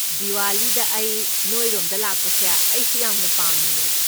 ꯗꯤꯋꯥꯂꯤꯗ ꯑꯩ ꯅꯣꯏꯔꯣꯝꯗ ꯂꯥꯛꯄꯁꯦ ꯑꯩꯁꯨ ꯌꯥꯝꯅ ꯄꯥꯝꯃꯤꯅꯦ꯫